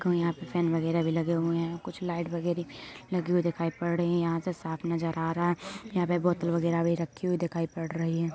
यहाँ पर फेन वगेरा भी लगे हुए है | कुछ लाइट वगेरा भी लगी हुई है यहाँ पे साफ़ नजर आ रहा है । यहाँ पे बोतल वगेरा भी रखी हुई दिखाई पड़ रही है ।